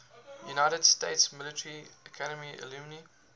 united states military academy alumni